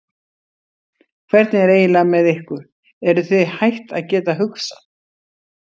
Hvernig er eiginlega með ykkur, eruð þið hætt að geta hugsað?